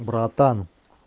братан